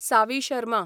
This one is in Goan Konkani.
सावी शर्मा